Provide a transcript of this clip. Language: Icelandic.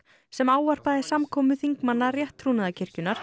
sem ávarpaði samkomu þingmanna